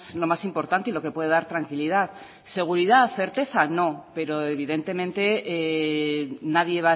lo más importante y lo que puede dar tranquilidad seguridad certeza no pero evidentemente nadie